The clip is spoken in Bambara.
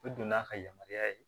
U don n'a ka yamaruya ye